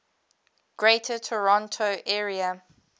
greater toronto area